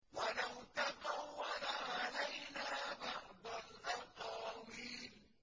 وَلَوْ تَقَوَّلَ عَلَيْنَا بَعْضَ الْأَقَاوِيلِ